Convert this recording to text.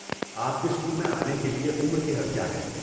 آپ کے اسکول میں آنے کے لیے عمر کی حد کیا ہے؟